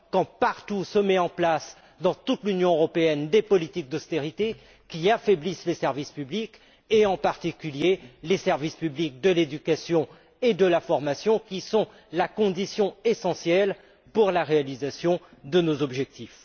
Quand se mettent en place partout dans l'Union européenne des politiques d'austérité qui affaiblissent les services publics, en particulier les services publics de l'éducation et de la formation, qui sont la condition essentielle à la réalisation de nos objectifs?